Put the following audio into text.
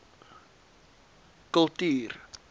kultuur